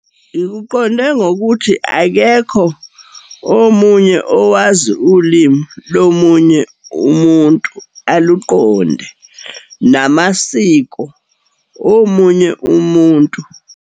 Ngikuqonde ngokuthi akekho omunye owazi ulimi lomunye umuntu, aluqonde, namasiko omunye umuntu.